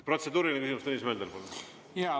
Protseduuriline küsimus, Tõnis Mölder, palun!